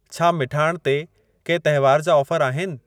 छा मिठाण ते के तहेवार जा ऑफर आहिनि?